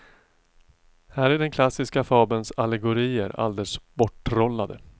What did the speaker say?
Här är den klassiska fabelns allegorier alldeles borttrollade.